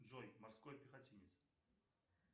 джой морской пехотинец